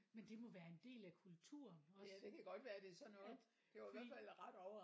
Men det må være en del af kultur også. At fordi